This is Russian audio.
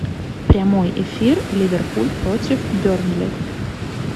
прямой эфир ливерпуль против бернли